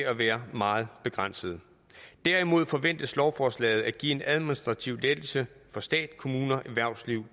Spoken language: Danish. at være meget begrænset derimod forventes lovforslaget at give en administrativ lettelse for stat kommuner erhvervsliv